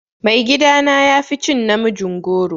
Mai gida na yafi cin namijin goro.